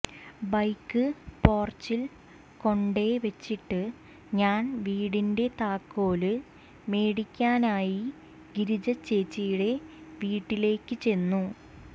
bike പോർച്ചിൽ കൊണ്ടെ വെച്ചിട്ട് ഞാൻ വീടിന്റെ താക്കോല് മേടിക്കാനായി ഗിരിജ ചേച്ചീടെ വീട്ടിലേക്ക് ചെന്നു